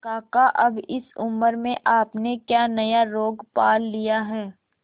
काका अब इस उम्र में आपने क्या नया रोग पाल लिया है